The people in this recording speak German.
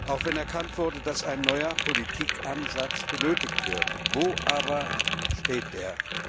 Auch wenn erkannt wurde, dass ein neuer Politikansatz benötigt wird Wo aber steht der?